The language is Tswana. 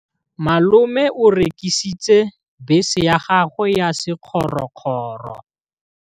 Malome o rekisitse bese ya gagwe ya sekgorokgoro.